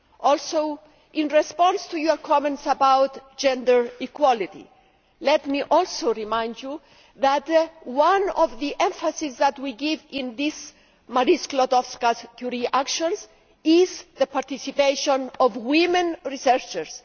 Also, in response to your comments about gender equality, let me remind you that one of the emphases that we give in the Marie Skłodowska Curie Actions is the participation of women researchers.